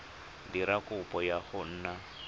dira kopo ya go nna